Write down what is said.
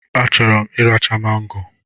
A chọrọ m iracha mango